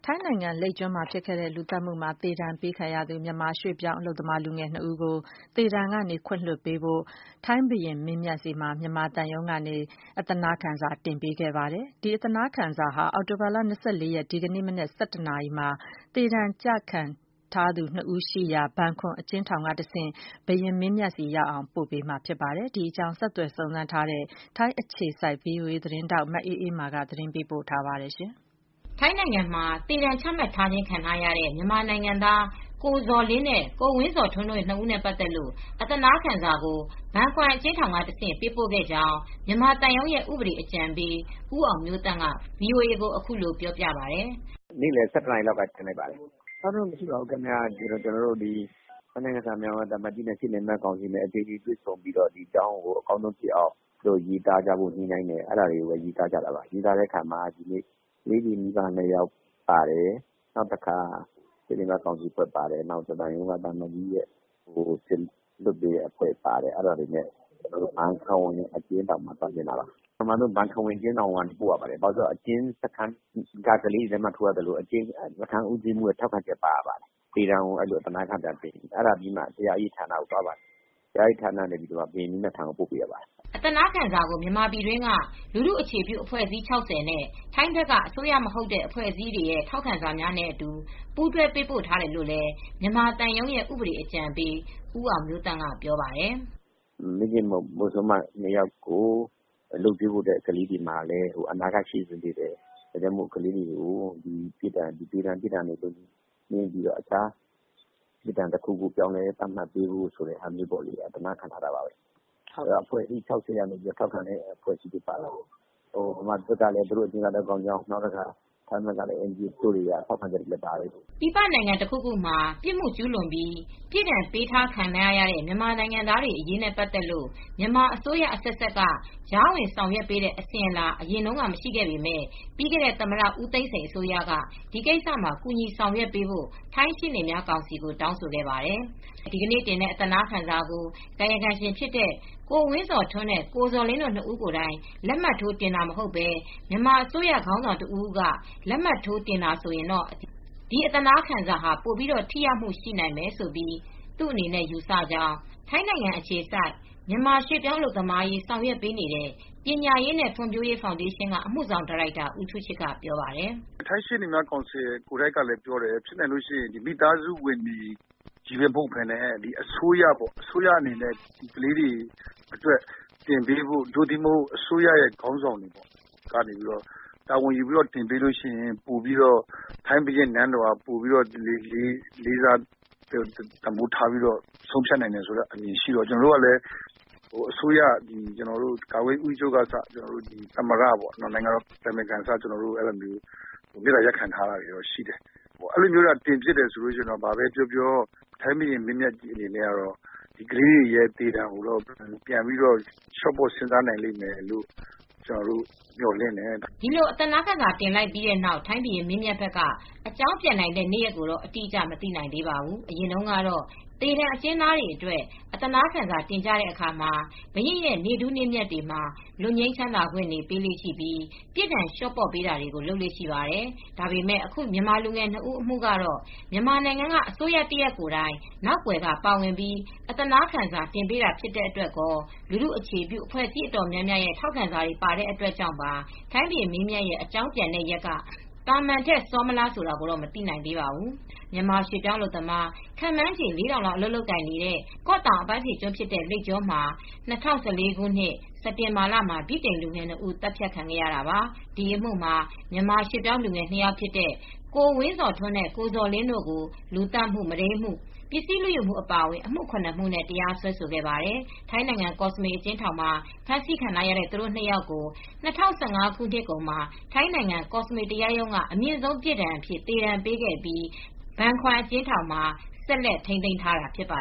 ိုင်းနိုင်ငံမှာ လိပ်ကျွန်းလူသတ်မူနဲ့သေဒဏ်ပေးခံထားရတဲ့ မြန်မာရွှေ့ပြောင်းလူငယ် ၂ဦးကို သေဒဏ်ပြစ်ဒဏ်ကနေ ခွင့်လွတ်ပေးပါရန် ထိုင်းဘုရင်းမင်းမြတ်ဆီကိုအသနားခံစာတင်ပေးခဲ့ပါတယ်။ ဒီအသနားခံစာဟာ အောက်တိုဘာလ၂၄ ရက်၊ ဒီကနေ့ မနက် ၁၁နာရီအချိန်မှာ လူငယ် ၂ဦး အကျဉ်းချထားရာ ဘန်ခွမ်အကျဉ်းထောင်ကတဆင့် ဘုရင်မင်းမြတ်ဆီရောက်အောင် ပို့ဆောင်သွားမှာဖြစ်ပါတယ်။ ဒီအကြောင်းကိုတော့ ထိုင်းအခြေစိုက် ဗွီအိုအေသတင်းထောက် မအေးအေးမာက သတင်းပေးပို့ထားပါတယ်။ ထိုင်းနိုင်ငံမှာ သေဒဏ်ချမှတ်ထားခြင်းခံရတဲ့ မြန်မာနိုင်ငံသား ကိုဇော်လင်းနဲ့ ကိုဝင်းဇော်ထွန်း တို့ ၂ဦးနဲ့ ပတ်သက်လို့ အသနားခံစာကို ဘန်ခွမ်အကျဉ်းထောင်ကတဆင့် ပေးပို့ခဲ့ကြောင်း မြန်မာသံရုံးရဲ့ ဥပဒေအကြံပေး ဦးအောင်မျိုးသန့်က ဗွီအိုအေကို အခုလိုပြောပါတယ်။ “ နေ့လည် ၁၁နာရီလောက်က တင်ဖြစ်ပါတယ်။ ကျနော်တို့ ထိုင်းနိုင်ငံဆိုင်ရာ မြန်မာသံအမတ်ကြီးနဲ့ ရှေ့နေများ ကောင်စီတို့ အသီးသီးတွေ တွေဆုံတိုင်ပင်ပြီး အကောင်းဆုံးရေးသားကြဖို့ ညှိနှိုင်းတယ် အဲဒါတွေပါ။ ပြီးတဲ့အခါမှာ ကလေးတွေ မိဘ ၂ယောက်ပါတယ်၊ နောက်တခါ ရှေ့နေများ ကောင်စီ ပါတယ်၊ သံအမတ်ကြီးရဲ့ကိုယ်စားလှယ်အဖွဲ့ပါတယ်။ အဲဒါတွေနဲ့ ကျနော်တို့ ဘန်ခွမ်အကျဉ်းထောင်ကို သွားတင်တာပါ။ အမှန်တော့ ဘန်ခွမ်အကျဉ်းထောင်မှာ အရင် ပို့ရပါတယ်။ ကလေးတွေရဲ့လက်မှတ်ထိုးရပါတယ်။ အကျဉ်းစခန်းဦးစီးမူးရဲ့လက်မှတ်ရေးထိုး ထောက်ခံချက်ပါရပါတယ်။ အဲဒီကနေ တရားရေးဌာနကို ပို့ရပါတယ်။ အဲဒီကနေတဆင့် ဘုရင်မင်းမြတ်ထံကိုပို့ရတာပါ။” အသနားခံကို မြန်မာပြည်တွင်းက လူထုအခြေပြုအဖွဲ့အစည်း ၆၀နဲ့ ထိုင်းဘက်က အစိုးရ မဟုတ်တဲ့အဖွဲ့အစည်းတွေရဲ့ ထောက်ခံစာများနဲ့ အတူ ပူးတွဲပေးပို့ ထားတယ်လို့လည်း မြန်မာသံရုံးရဲ့ ဥပဒေအကြံပေး ဦးအောင်မျိုးသန့်က ပြောပါတယ်။ “ပါဝင်တဲ့အချက်အလက်တွေကတော့ မိခင်မုဆိုးမ ၂ယောက်ကို လုပ်ကြွေးဖို့လည်း ကလေးတွေမှာ အနာဂတ်ရှိနေပါတယ်။ ဒါကြောင့်ကလေးတွေကို သေဒဏ်အပြစ်ဒဏ်အစား တခြားပြစ်ဒဏ် ပြောင်းလဲပေးဖို့ အသနားခံစာတင်တာပါ။ အဖွဲ့အစည်း ၆၀က ထောက်ခံချက်ပါတယ်။ မြန်မာပြည် ထဲကလည်း သူတို့ ၂ဦးနဲ့ ပတ်သက်လို့အကျင့်စာရိတ္တ ကောင်းမွန်ကြောင်း ထောက်ခံထားချက်တွေ ပါတယ်။ ထိုင်းဘက်က NGO တွေကလည်း ထောက်ခံကြောင်းစာတွေပါတယ်။” ပြည်ပနိုင်ငံတခုခုမှာ ပြစ်မှုကျူးလွန်ပြီး ပြစ်ဒဏ်ပေးခဲ့ထားရတဲ့ မြန်မာနိုင်ငံသားတွေအရေးနဲ့ ပတ်သက်လို့ မြန်မာအစိုးရအဆက်ဆက်က ကြားဝင်ဆောင်ရွက်ပေးတဲ့ အစဉ်အလာ အရင်က မရှိခဲ့ပေမယ့် ပြီးခဲ့တဲ့ သမ္မတ ဦးသိန်းစိန် အစိုးရက ဒီကိစ္စမှာ ကူညီဆောင်ရွက်ပေးဖို့ ထိုင်းရှေ့နေများကောင်စီကို တောင်းဆိုခဲ့ပါတယ်။ဒီကနေ့တင်တဲ့ အသနားခံစာကို ကာယကံရှင်ဖြစ်တဲ့ ကိုဝင်းဇော်ထွန်းနဲ့ ကိုဇော်လင်းတို့ ၂ ဦးကိုယ်တိုင် လက်မှတ်ထိုး တင်တာမျိုးမဟုတ်ဘဲ မြန်မာအစိုးရခေါင်းဆောင် တဦးဦးက လက်မှတ်ထိုးတင်မယ်ဆိုရင် ဒီအသနားခံစာဟာ ပိုပြီး ထိရောက်မှုရှိနိုင်မယ်လို့ သူ့အနေနဲ့ ယူဆကြောင်း ထိုင်းနိုင်ငံအခြေစိုက် မြန်မာရွေ့ပြောင်းအလုပ်သမားတွေအရေး ဆောင်ရွက်ပေးနေတဲ့ ပညာရေးနဲ့ ဖွံ့ဖြိုးတိုးတက်ရေး ဖောင်ဒေးရှင်းက အမူဆောင်ဒါရိုက်တာ ဦးထူးချစ်က ပြောပါတယ်။ “ထိုင်းရှေနေများကောင်စီကလည်း အမြဲပြောတယ်။ ဖြစ်နိုင်ရင် မိသားစုဝင်တွေချည်းပဲမဟုတ်ပဲ ထိုင်းအစိုးရ ကိုယ်တိုင်တင်ပေးဖို့ သို့မဟုတ် အစိုးရခေါင်းဆောင်တွေ တာဝန်ယူပြီး တင်ပေးရင် ထိုင်းဘုရင်နန်းတော်ကအစ ပိုပြီး လေးစားတန်ဖိုးထား ဆုံးဖြတ်နိုင်တဲ့အမြင်ရှိတော့ အစိုးရ ကာကွယ်ရေးဦးစီးချုပ် သမ္မတ နဲ့ နိုင်ငံတော်အတိုင်ပင်ခံကအစ မေတ္တာ ရပ်ခံထားတာရှိတယ် ။ အဲဒီလိုမျိုးတင်ဖြစ်ရင်တော့ ထိုင်းဘုရင်ကြီးအနေနဲ့ ကလေးတွေရဲ့သေဒဏ်ကို တော့လျော့ပေါ့ စဉ်းစားနိုင်လိမ့်မယ် ကျနော်တို့က မျှော်လင့်ထားတယ်။” ဒီလိုအသနားခံစာတင်လိုက်ပြီးနောက် ထိုင်းဘုရင်မင်းမြတ်ဘက်က အကြောင်းပြန်နိုင်တဲ့ နေရက်ကိုတော့ အတိအကျ မသိနိုင်သေးပါဘူး။ အရင်တုန်းကတော့ သေဒဏ် အကျဉ်းသားတွေ အတွက် အသနားခံစာတင်တဲ့အခါမှာ ဘုရင့်ရဲ့ နေ့ထူးနေ့မြတ်တွေမှာ လွတ်ငြိမ်းချမ်းသာခွင့်တွေ ပေးလေ့ရှိပြီး ပြစ်ဒဏ်လျော့ချပေးတာတွေ လုပ်လေ့ရှိပါတယ်။ ဒါပေမဲ့ အခု မြန်မာလူငယ် ၂ဦးအမူကတော့ မြန်မာနိုင်ငံက အစိုးရတရပ်ကိုယ်တိုင် နောက်ကွယ်က ပါဝင်ပြီးအသနားခံစာ တင်ပေးတာ ဖြစ်တဲ့အတွက်ကော၊ လူထုအခြေပြုအဖွဲအစည်း အတော်များများရဲ့ ထောက်ခံစာတွေ ပါတဲ့အတွက်ကြောင့် ထိုင်းဘုရင်မင်းမြတ်ရဲ့ အကြောင်းပြန်နိုင်တဲ့ရက်က သာမန်ထက် စောမလားဆိုတာကိုတော့ မသိနိုင်သေးပါဘူး။ မြန်မာရွှေ့ပြောင်းအလုပ်သမား ခန့်မှန်းချေ ၄,၀၀၀လောက် အလုပ်လုပ်ကိုင်နေတဲ့ ကော့တောင်အပမ်းဖြေကျွန်းဖြစ်တဲ့ လိပ်ကျွန်းမှာ ၂၀၁၄ခုနှစ် စက်တင်ဘာလမှာ ဗြိတိန်လူငယ်၂ ဦးသတ်ခံခဲ့ရတာပါ။ ဒီအမှုမှာ မြန်မာရွှေ့ပြောင်းလူငယ် ၂ ယောက်ဖြစ်တဲ့ ကိုဝင်းဇော်ထွန်းနဲ့ကိုဇော်လင်းတို့ကို လူသတ်မှု၊ မုဒိမ်းမှု၊ပစ္စည်းလူယူမှု အပါအဝင် အမှု ၇ မှုနဲ့ တရားစွဲခဲ့ပါတယ်။ ထိုင်းနိုင်ငံ၊ ကော့စမွေ အကျဉ်းထောင်မှာ ဖမ်းဆီးခံထားရတဲ့ သူတို့ ၂ ယောက်ကို ၂၀၁၅ ခုနှစ်ကုန်မှာ ထိုင်းနိုင်ငံ၊ ကောစမွေ တရားရုံးကနေ အမြင့်ဆုံးပြစ်ဒဏ်အဖြစ် သေဒဏ်ပေးခဲ့ပြီး ဘန်ခွမ်အကျဉ်းထောင်မှာ ဆက်လက် ထိန်းသိမ်းထားတာ ဖြစ်ပါ